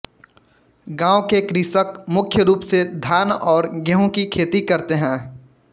गाँव के कृषक मुख्य रूप से धान और गेहूं की खेती करते हैं